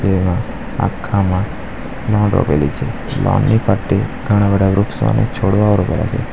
તેમાં આખામાં લોન રોપેલી છે લોન ની ફરટે ઘણા બઢા વૃક્ષો અને છોડવાઓ રોપેલાં છે.